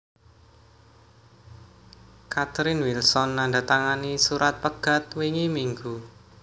Catherine Wilson nandatangani surat pegat wingi minggu